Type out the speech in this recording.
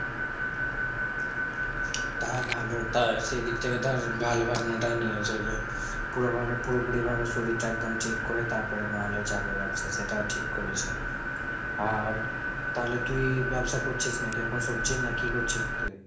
তা ভালো। তা সেই দিক থেকে ধর ভালো ভাবনাটাই নিয়েছে যে, পুরো ভাবে পুরোপুরিভাবে শরীরটা একদম ঠিক করে তারপরে নাহলে যাবে ব্যবসা সেটাও ঠিক করেছে। আর তাহলে তুই ব্যবসা করছিস নাকি এখন সবজির নাকি কি করছিস তুই?